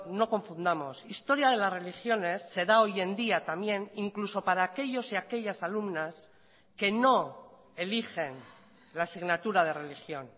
no confundamos historia de las religiones se da hoy en día también incluso para aquellos y aquellas alumnas que no eligen la asignatura de religión